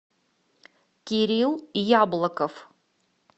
кирилл яблоков